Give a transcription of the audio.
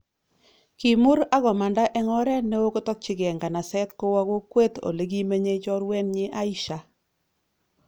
Kimur akomanda eng oret neo kotokchikei nganaset kowo kokwet Ole kimenyei choruenyi Aisha